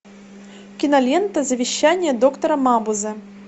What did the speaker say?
кинолента завещание доктора мабузе